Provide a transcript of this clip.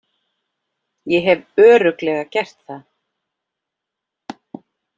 Ég hef Örugglega gert það.